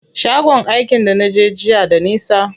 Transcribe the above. Shagon aikin da naje jiya da nisa.